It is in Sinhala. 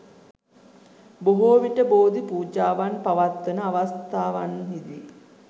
බොහෝ විට බෝධි පූජාවන් පවත්වන අවස්ථාවන්හිදී